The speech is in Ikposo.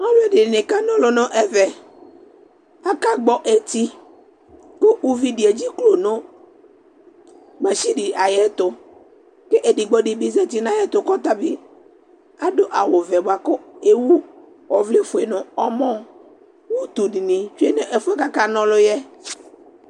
Alʋɛdɩnɩ kana ɔlʋ nʋ ɛvɛ Akagbɔ eti kʋ uvi dɩ edziklo nʋ masini ayɛtʋ kʋ edigbo dɩ bɩ zati nʋ ayɛtʋ kʋ ɔta bɩ adʋ awʋvɛ bʋa kʋ ewu ɔvlɛfue nʋ ɔmɔ Utu dɩnɩ tsue nʋ ɛfʋ yɛ kʋ akana ɔlʋ yɛ